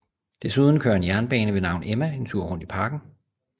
Desuden kører en jernbane ved navn Emma en tur rundt i parken